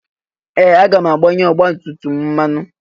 Ee! Aga m agbanye ọgbatumtum m mmanụ.